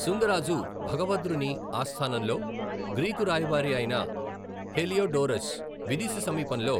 శుంగ రాజు భగభద్రుని ఆస్థానంలో గ్రీకు రాయబారి అయిన హెలియోడోరస్ విదిశ సమీపంలో